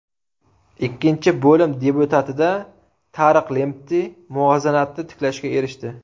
Ikkinchi bo‘lim debyutida Tariq Lempti muvozanatni tiklashga erishdi.